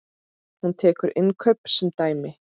Hún tekur innkaup sem dæmi.